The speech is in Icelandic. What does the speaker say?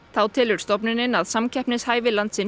þá telur stofnunin að samkeppnishæfni landsins